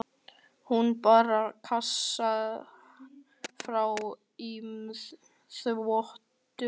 Hún bar kassann fram í þvottahús.